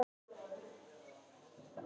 Hún er stöðug og versnar ekki með tímanum.